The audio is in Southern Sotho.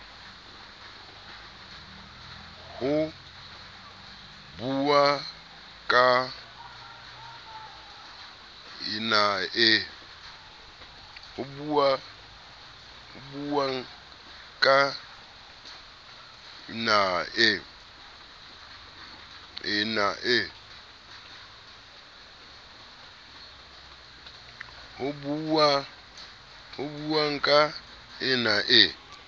ho buuwang ka yna e